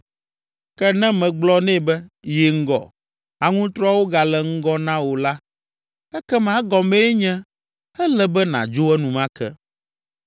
Ke ne megblɔ nɛ be, ‘Yi ŋgɔ. Aŋutrɔawo gale ŋgɔ na wò’ la, ekema egɔmee nye ele be nàdzo enumake.